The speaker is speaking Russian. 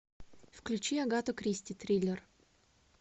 включи агату кристи триллер